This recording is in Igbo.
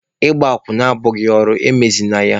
Akwụna abụghị ezigbo ọrụ, emezịna ya!